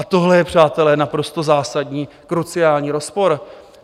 A tohle je, přátelé, naprosto zásadní, kruciální rozpor.